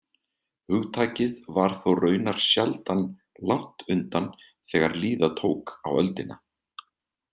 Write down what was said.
Hugtakið var þó raunar sjaldan langt undan þegar líða tók á öldina.